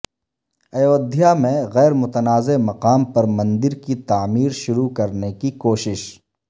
ایودھیا میں غیرمتنازعہ مقام پر مندر کی تعمیر شروع کرنے کی کوشش